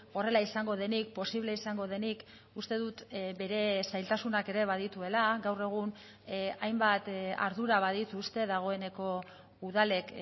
horrela izango denik posible izango denik uste dut bere zailtasunak ere badituela gaur egun hainbat ardura badituzte dagoeneko udalek